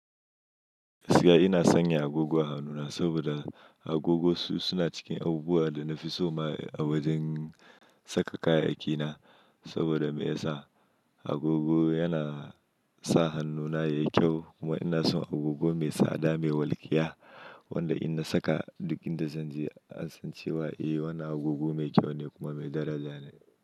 Gaskiya ina sanya agogo a hannuna saboda agogo su suna cikin abubuwan da na fi so ma a wajen saka kayayyaki na. Saboda me ya sa agogo yana sa hannuna yayi kyau kuma ina son agogo mai tsada mai walƙiya wanda in na saka duk inda zan je an san cewa eh wannan agogo mai kyau ne kuma mai daraja ne.